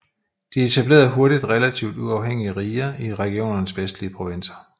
De etablerede hurtigt relativt uafhængige riger i regionens vestlige provinser